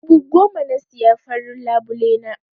Dubu goma na siya farin labule na.